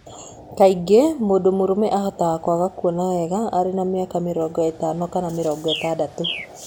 Kaingĩ mũndũ mũrũme ahota kwaga kuona wega arĩ na mĩaka mĩrongo ĩtano kana mĩrongo ĩtandatũ.